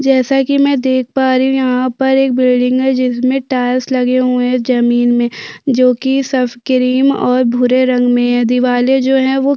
जैसा की मै देख पा रही हूँ यहाँ पर एक बिल्डिंग है जिसमे टाइल्स लगे हुए है जमीन मे जो की सब किरीम और भूरे रंग मे यह दिवाले जो हैं वो--